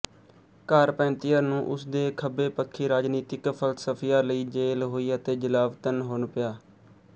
Carpentier ਨੂੰ ਉਸ ਦੇ ਖੱਬੇਪੱਖੀ ਰਾਜਨੀਤਿਕ ਫ਼ਲਸਫ਼ਿਆਂ ਲਈ ਜੇਲ੍ਹ ਹੋਈ ਅਤੇ ਜਲਾਵਤਨ ਹੋਣਾ ਪਿਆ